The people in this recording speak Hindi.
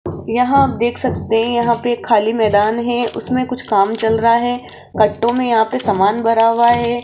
यहां देख सकते हैं यहां पे खाली मैदान है उसमें कुछ काम चल रहा है कट्टो में यहां पे सामान भरा हुआ है।